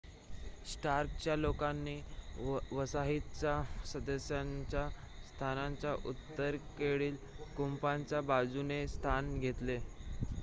स्टार्कच्या लोकांनी वसाहतीच्या सदस्यांच्या स्थानाच्या उत्तरेकडील कुंपणाच्या बाजूने स्थान घेतले